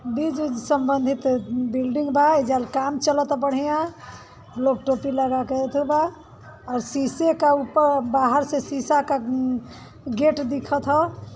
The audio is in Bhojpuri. संबंधित बिल्डिंग बा| एजा काम चलता बढ़िया लोग टोपी लागा के बा और सीसे का ऊपर बाहर से सीसा क उम्म गेट दिखत ह।